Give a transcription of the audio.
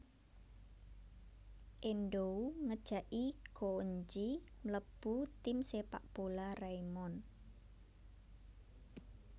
Endou ngejaki Gouenji mlebu tim Sepak bola Raimon